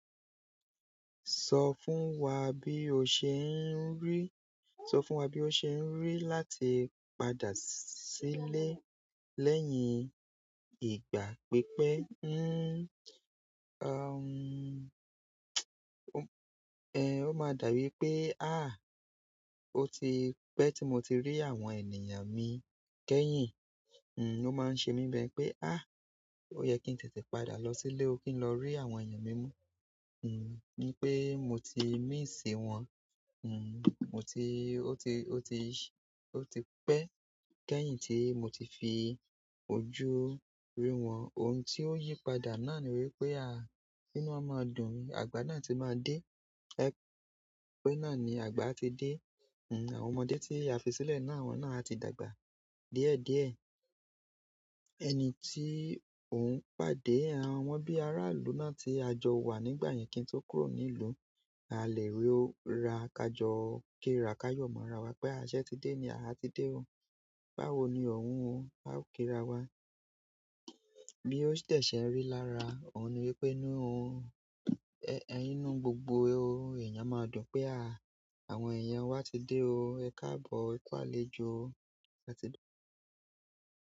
Sọ fún wa bí o ṣe ń rí, sọ fún wa bí o ṣe ń rí láti padà sílé lẹ́yìn ìgbà pípẹ́. O máa dàwí pé "àh! Ó ti pẹ́ tí mo ti rí àwọn ènìyàn mi kẹ́yìn." N o máa ń ṣe mí bẹ pé "àh! Ó yẹ kí n tètè padà lọ sílé, ó kí n lọ rí àwọn èèyàn mi mú." N pé mo ti miss wọ́n, n mo ti, ó ti, ó ti, ó ti pẹ́ kẹ́yìn tí mo ti fi ojú rí wọn. Ohun tí ó yípadà náà ni wípé ínú won máa dùn, àgbà náà ti máa dé. Ẹ pé náà ni àgbà ti dé. N àwọn ọmọdé tí a fi sílẹ̀ náà, àwọn náà ti dàgbà díẹ̀ díẹ̀. Ẹni tí òun pàdé, àwọn bí ará ìlú náà tí a jọ wà nígbà yẹn kí n tó kúrò ní ìlú, a lè rí ó ra kájọ́, ó kí ra ká yọ̀ mọ́ ara wa pé sẹ ti dé ni, àti dé o. Báwo ni ọ̀hún ó, a ó kí ra wa. Bí ó sì dẹ̀ ṣe ń rí lára, òun ni wípé inú òun, ẹyín inú gbogbo èèyàn máa dùn pé àwọn èèyàn wa ti dé o, ẹ káàbọ̀, ẹ ku àlejó, ẹ ti dé.